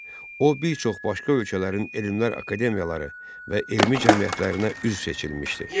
O, bir çox başqa ölkələrin elmlər akademiyaları və elmi cəmiyyətlərinə üzv seçilmişdi.